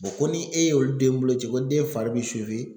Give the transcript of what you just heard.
ko ni e ye olu den bolo ci ko den fari bɛ